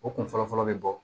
O kun fɔlɔ fɔlɔ bɛ bɔ